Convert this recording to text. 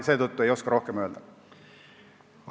Seetõttu ma ei oska praegu rohkem midagi öelda.